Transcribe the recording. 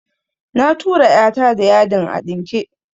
Na tura "ya ta da yadin a ɗinke